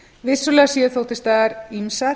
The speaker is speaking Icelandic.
vissulega séu þó til staðar ýmsar